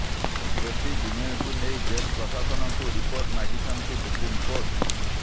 ଦୋଷୀ ବିନୟକୁ ନେଇ ଜେଲ ପ୍ରଶାସନକୁ ରିପୋର୍ଟ ମାଗିଛନ୍ତି ସୁପ୍ରିମକୋର୍ଟ